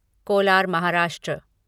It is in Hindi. कोलार महाराष्ट्र